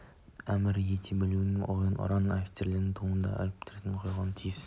әмір ете білу керек деген ұран әрбір офицердің туына үлкен әріптермен жазылып қойылуға тиіс